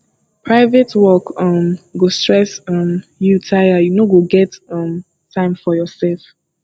private work um go stress um you tire you no go get um time for yoursef